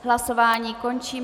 Hlasování končím.